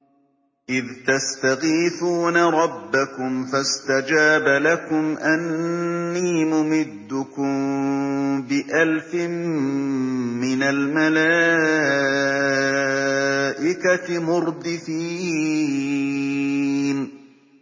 إِذْ تَسْتَغِيثُونَ رَبَّكُمْ فَاسْتَجَابَ لَكُمْ أَنِّي مُمِدُّكُم بِأَلْفٍ مِّنَ الْمَلَائِكَةِ مُرْدِفِينَ